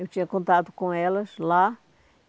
Eu tinha contato com elas lá.